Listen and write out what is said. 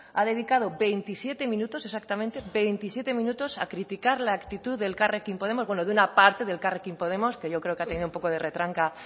ha dedicado veintisiete minutos exactamente veintisiete minutos a criticar la actitud de elkarrekin podemos bueno de una parte de elkarrekin podemos que yo creo que ha tenido un poco de retranca